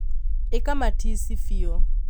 ĩka matici biũ